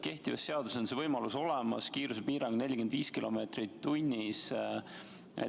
Kehtivas seaduses on see võimalus olemas, kiirusepiirang on 45 km/h.